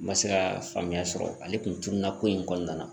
N ma se ka faamuya sɔrɔ ale kun turula ko in kɔnɔna na